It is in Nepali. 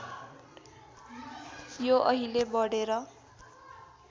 यो अहिले बढेर